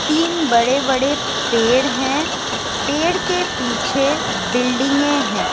तीन बड़े बड़े पेड़ हैं पेड़ के पीछे बिल्डिंगे है।